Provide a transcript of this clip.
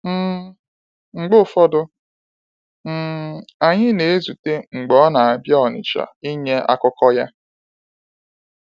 um Mgbe ụfọdụ, um anyị na-ezute mgbe ọ na-abịa Onitsha ịnye akụkọ ya.